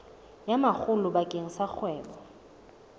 ya makgulo bakeng sa kgwebo